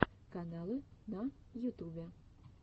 каналы на ютубе